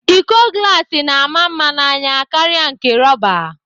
Íkó glas na-ama mma n'anya karịa nke rọba.